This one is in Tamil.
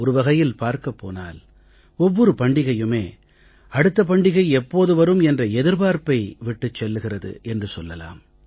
ஒரு வகையில் பார்க்கப் போனால் ஒவ்வொரு பண்டிகையுமே அடுத்த பண்டிகை எப்போது வரும் என்ற எதிர்பார்ப்பை விட்டுச் செல்கிறது என்று சொல்லலாம்